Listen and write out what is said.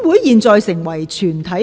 現在成為全體委員會。